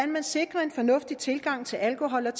man sikrer en fornuftig tilgang til alkohol